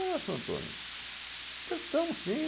Ah, seu Antônio, emprestamos sim.